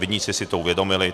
Viníci si to uvědomili.